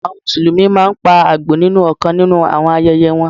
Àwọn Mùsùlùmí máa ń pa Àgbò nínú ọ̀kan nínú àwọn ayẹyẹ wọn.